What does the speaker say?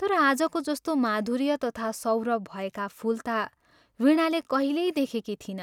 तर आजको जस्तो माधुर्य तथा सौरभ भएका फूल ता वीणाले कहिल्यै देखेकी थिइन।